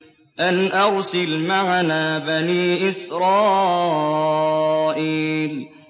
أَنْ أَرْسِلْ مَعَنَا بَنِي إِسْرَائِيلَ